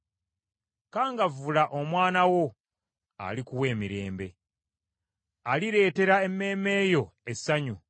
Kangavvula omwana wo, alikuwa emirembe, alireetera emmeeme yo essanyu.